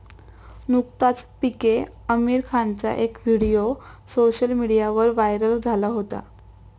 नुकताच पीके आमिर खानचा एक व्हिडीओ सोशल मीडियावर व्हायरल झाला होता.